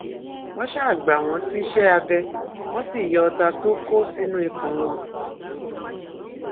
wọn ṣáà gbà wọn síṣẹ abẹ wọn sì yọ ọta tó kó sínú ikùn wọn